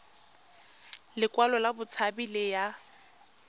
lekwalo la botshabi le ya